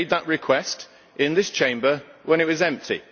We made that request in this Chamber when it was empty.